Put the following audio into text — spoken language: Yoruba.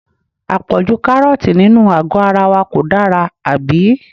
À pọ̀jù Kárọ́ọ̀tì nínú àgó ara wa kò dára, àbí?